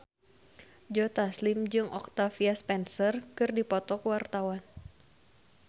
Joe Taslim jeung Octavia Spencer keur dipoto ku wartawan